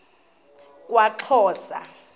kwaxhosa